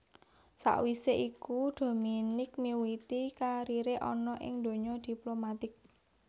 Sakwisé iku Dominique miwiti kariré ana ing donya diplomatik